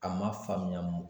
A ma faamuya